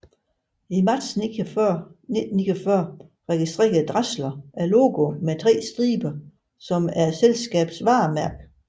I marts 1949 registrerede Dassler logoet med tre striber som selskabets varemærke